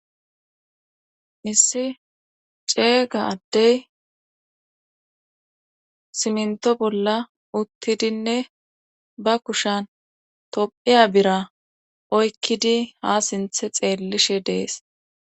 Issi ceeyga addey simnto bolla uttidinne ba kushan tophiya bira oykkidi ha sinthe xeellishe dees.